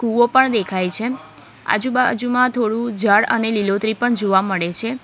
કુઓ પણ દેખાય છે આજુબાજુમાં થોડું ઝાડ અને લીલોતરી પણ જોવા મળે છે.